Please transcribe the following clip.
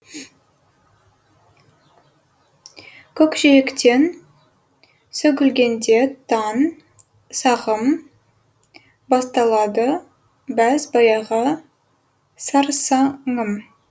көкжиектен сөгілгенде таң сағым басталады бәз баяғы сарсаңым